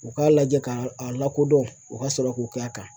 U k'a lajɛ k'a a lakodɔn u ka sɔrɔ k'o kɛ a kan